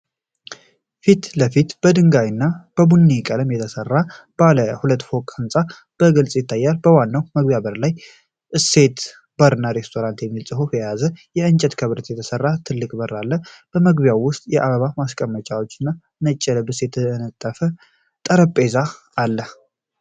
የፊት ለፊቱ በድንጋይ እና በቡኒ ቀለም የተሰራ ባለ ሁለት ፎቅ ሕንፃ በግልጽ ይታያል። በዋናው መግቢያ ላይ "እሴት ባርና ሬስቶራንት" የሚል ጽሑፍ የያዘ ከእንጨትና ከብረት የተሰራ ትልቅ በር አለ። በግቢው ውስጥ የአበባ ማስቀመጫዎችና ነጭ ልብስ የተነጠፈበት ጠረጴዛ አለ።